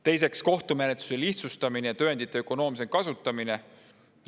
Teiseks, kohtumenetluse lihtsustamine ja tõendite ökonoomsem kasutamine.